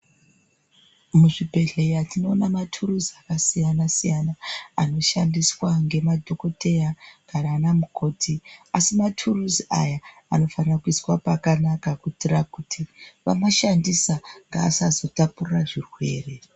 Muchibhedhleya tinoona maturuzi akasiyana siyana anoshandiswa ngemadhokodheya kana anamukoti asi maturuzi aya anofanira kuiswa pakanaka kuitira kuti vamashandisa ngaasazotapurira zvirwere.